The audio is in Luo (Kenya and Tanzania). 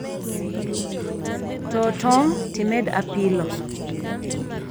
Too tong' timed apilo